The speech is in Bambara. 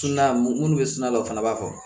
minnu bɛ sina la o fana b'a fɔ